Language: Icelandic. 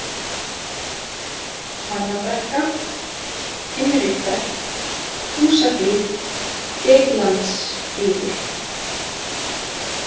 Hvannabrekka, Heimrikverk, Húsahlíð, Geitlandsgígur